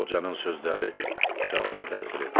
Qocanın sözləri cavana təsir etdi.